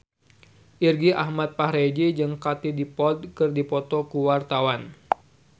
Irgi Ahmad Fahrezi jeung Katie Dippold keur dipoto ku wartawan